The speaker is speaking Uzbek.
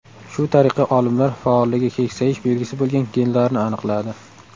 Shu tariqa olimlar faolligi keksayish belgisi bo‘lgan genlarni aniqladi.